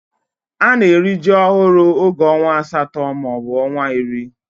Ana eri ji ohuru oge onwa asato ma obu onwa iri.